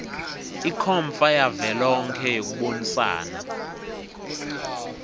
ikhomfa yavelonkhe yekubonisana